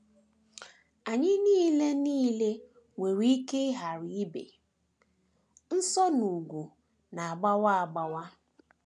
Anyị nile nile nwere ike ghara ibi nso n’ugwu na - agbawa agbawa.